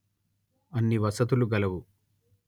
అన్ని వసతులు గలవు